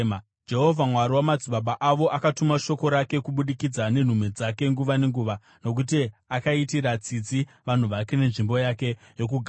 Jehovha, Mwari wamadzibaba avo, akatuma shoko rake kubudikidza nenhume dzake nguva nenguva, nokuti akaitira tsitsi vanhu vake nenzvimbo yake yokugara.